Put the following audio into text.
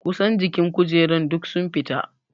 Ƙusan jikin kujerar duk sun fita.